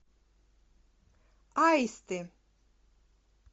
аисты